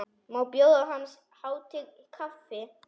Má bjóða hans hátign kaffi?